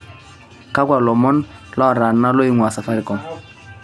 kakwa lomon lootana loingua safaricom